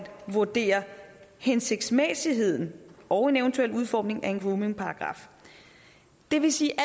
vurdere hensigtsmæssigheden og en eventuel udformning af en groomingparagraf det vil sige at